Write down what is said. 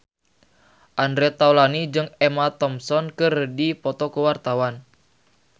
Andre Taulany jeung Emma Thompson keur dipoto ku wartawan